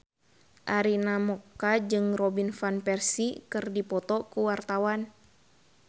Arina Mocca jeung Robin Van Persie keur dipoto ku wartawan